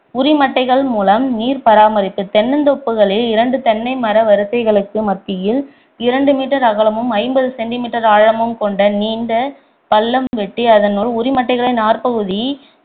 உரிமட்டைகள் முலம் நீர் பராமரிப்பு தென்னந்தோப்புகளின் இரண்டு தென்னை மர வரிசைகளுக்கு மத்தியில் இரண்டு meter அகலமும் ஐம்பது centimeter ஆழமும் கொண்ட நீண்ட பள்ளம் வெட்டி அதனுள் உரிமட்டைகளின் நார்ப்பகுதி